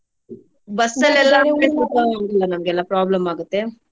ನಮ್ಗೆಲ್ಲಾ problem ಆಗುತ್ತೆ.